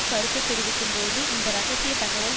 கருத்து தெரிவிக்கும்போது இந்த இரகசிய தகவல்